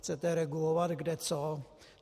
Chcete regulovat kde co.